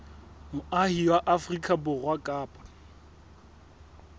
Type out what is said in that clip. moahi wa afrika borwa kapa